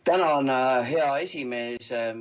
Tänan, hea esimees!